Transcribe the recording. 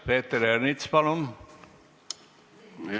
Peeter Ernits, palun!